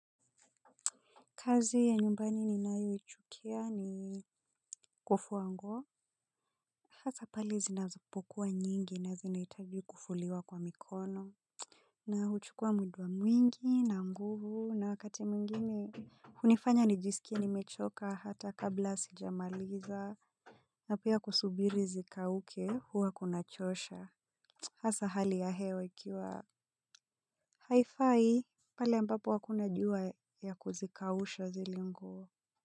Kazi ya nyumbani ninayoichukia ni kufua nguo. Hasa pale zinapokuwa nyingi na zinahitaji kufuliwa kwa mikono. Na huchukua muda mwingi na nguvu na wakati mwingine hunifanya nijiskie nimechoka hata kabla sijamaliza na pia kusubiri zikauke huwa kunachosha hasa hali ya hewa ikiwa haifai pale ambapo hakuna jua ya kuzikausha zile nguo.